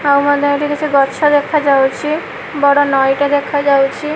ଆଉ ହେଲା ଏଇଠି କିଛି ଗଛ ଦେଖାଯାଉଚି ବଡ଼ ନଈ ଟେ ଦେଖାଯାଉଚି।